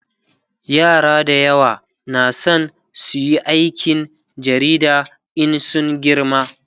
yara da yawa na San suyi aikin jarida In sun girma